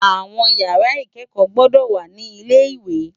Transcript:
Áwòn ìyàrá ikèékò gbòdò wá ni ilé iwé